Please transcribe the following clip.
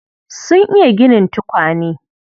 Sun iya ginin tukwane.